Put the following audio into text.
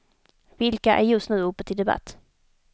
Vilka är just nu uppe till debatt.